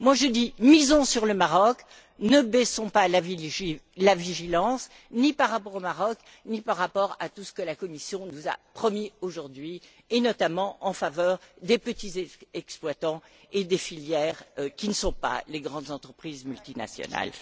Je dis misons sur le Maroc, ne réduisons pas notre vigilance, ni par rapport au Maroc, ni par rapport à tout ce que la Commission nous a promis aujourd'hui, et notamment en faveur des petits exploitants et des filières qui ne sont pas les grandes entreprises multinationales.